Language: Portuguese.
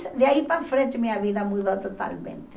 De aí para frente, minha vida mudou totalmente.